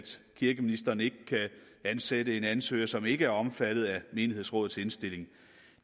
kirkeministeren ikke kan ansætte en ansøger som ikke er omfattet af menighedsrådets indstilling